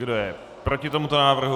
Kdo je proti tomuto návrhu?